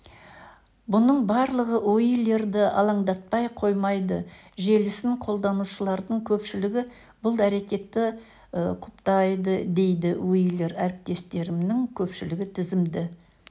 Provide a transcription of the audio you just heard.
бұның барлығы уилерді алаңдатпай қоймады желісін қолданушылардың көпшілігі бұл әрекетті құптадыдейді уилер әріптестерімнің көпшілігі тізімді